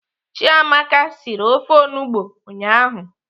Chiamaka siri ofe onugbo ụnyaahụ.